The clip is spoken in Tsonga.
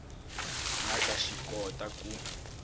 nga ta swi kota ku